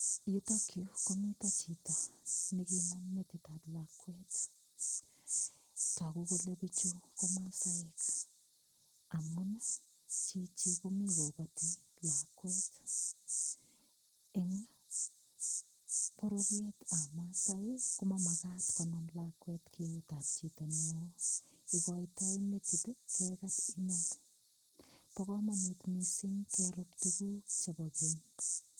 Yutok yu ko mito chito nekinam metitab lakwet. Tagu kole pichu ko masaek amun chichi komi kogati lakwet. Eng bororyetab maasai ko mamagat konam lakwet eutab chito neo. Igoitoi metit ii kegat inne. Bo kamanut mising kerup tuguk chebo keny.